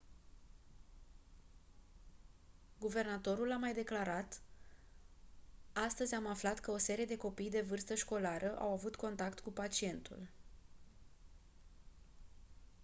guvernatorul a mai declarat: «astăzi am aflat că o serie de copii de vârstă școlară au avut contact cu pacientul».